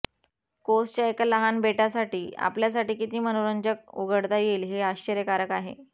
कोसच्या एका लहान बेटासाठी आपल्यासाठी किती मनोरंजक उघडता येईल हे आश्चर्यकारक आहे